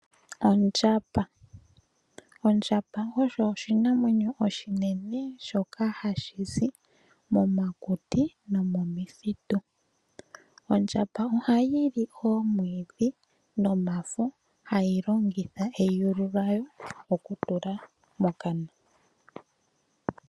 Ondjamba oyo oshinanwenyo oshinene shoka hashi zi momakuti nomomithitu. Ondjamba ohayi li omwiidhi nomafo hayi longitha eyulu lyawo oku tula mokana.